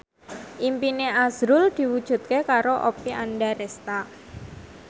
impine azrul diwujudke karo Oppie Andaresta